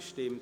Abstimmung